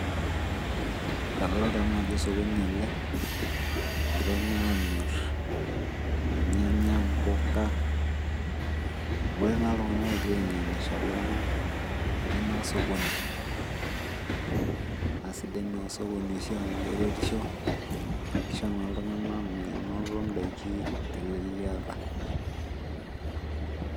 Kadalta najo osokoni ele, egirai naa amir irnyanya, impuka. Ebore naa iltung'anak egira ainyang'isho naa etii naa osokoni. Nasidai naa osokoni oshi amu keretisho, kisho naa iltung'anak menoto daiki teleliata.